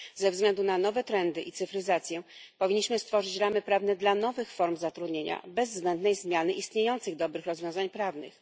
Ze względu na nowe trendy i cyfryzację powinniśmy stworzyć ramy prawne dla nowych form zatrudnienia bez zbędnej zmiany istniejących dobrych rozwiązań prawnych.